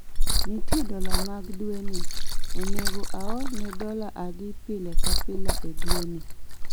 Nitie dola mag dwe ni, onego aorne dola adi pile ka pile e dwe ni?